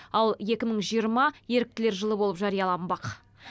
ал екі мың жиырма еріктілер жылы болып жарияланбақ